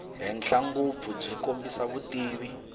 henhla ngopfu byi kombisa vutivi